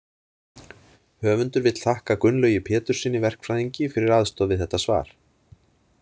Höfundur vill þakka Gunnlaugi Péturssyni verkfræðingi fyrir aðstoð við þetta svar.